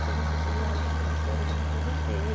Falei, gente, eu tive aula com esse professor e não aproveitei.